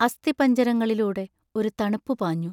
അസ്ഥിപഞ്ജര ങ്ങളിലൂടെ ഒരു തണുപ്പു പാഞ്ഞു.